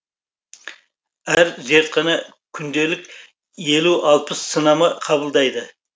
әр зертхана күнделік елу алпыс сынама қабылдайды